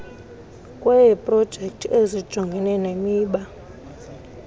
kweeprojekthi ezijongene nemiba